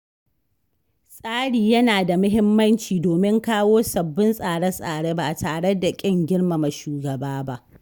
Tsari yana da muhimmanci domin kawo sabbin tsare-tsare ba tare da kin girmama shugaba ba.